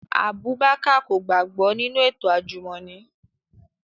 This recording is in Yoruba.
Abubakar ko gbagbọ ninu eto ajumọni